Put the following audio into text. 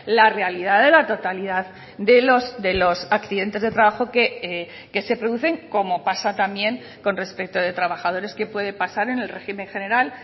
la realidad de la totalidad de los accidentes de trabajo que se producen como pasa también con respecto de trabajadores que puede pasar en el régimen general